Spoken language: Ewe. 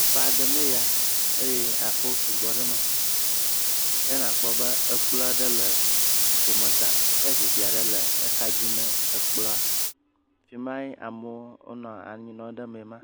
Aƒe aɖe mee ya eye aƒewo sugbɔ ɖe eme ke nakpɔ be kplɔ̃ ɖe le domezã ke zikpui aɖe le axadzi ne kplɔ̃a. Afi mae amewo nɔ anyi nɔm ɖe mee ma